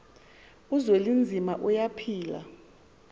uzwelinzima tuya phila